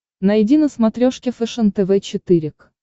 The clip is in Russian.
найди на смотрешке фэшен тв четыре к